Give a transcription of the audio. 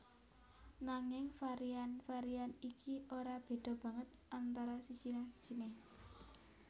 Nanging varian varian iki ora béda banget antara siji lan sijiné